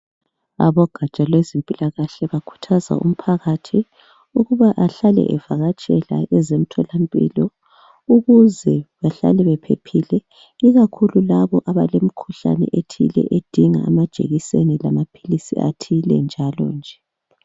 Abogatsha lwezempilakahle bakhuthaza umphakathi ukuba ahlale evakatshaela ezemtholampilo, ukuze behlale bephephile ikakhulu labo abalemkhuhlane ethile edinga amajekiseni lamaphilizi athile njalo nje.